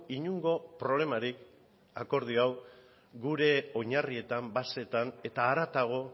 inongo problemarik akordio hau gure oinarrietan basetan eta haratago